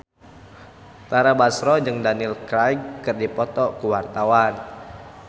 Tara Basro jeung Daniel Craig keur dipoto ku wartawan